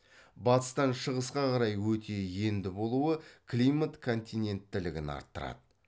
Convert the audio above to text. батыстан шығысқа қарай өте енді болуы климат континенттілігін арттырады